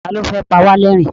Ta ní ó fẹ́ pa wá lẹ́rìn-ín?